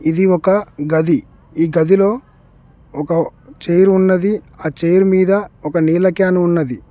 ఇది ఒక గది. ఈ గదిలో ఒక చైర్ ఉన్నది. ఆ చైర్ మీద ఒక నీళ్ళ క్యాను ఉన్నది.